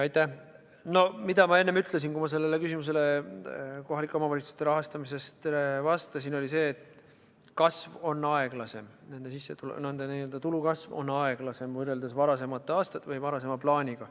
See, mida ma enne ütlesin, kui ma sellele küsimusele kohalike omavalitsuste rahastamisest vastasin, oli see, et kasv on aeglasem, nende n-ö tulu kasv on aeglasem võrreldes varasemate aastate või varasema plaaniga.